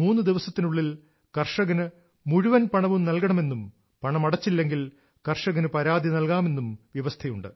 മൂന്ന് ദിവസത്തിനുള്ളിൽ കർഷകന് മുഴുവൻ പണവും നൽകണമെന്നും പണമടച്ചില്ലെങ്കിൽ കർഷകന് പരാതി നൽകാമെന്നും വ്യവസ്ഥയുണ്ട്